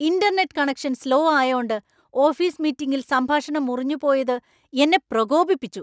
Internet connection slow ആയോണ്ട് office മീറ്റിംഗിൽ സംഭാഷണം മുറിഞ്ഞു പോയത് എന്നെ പ്രകോപിപ്പിച്ചു.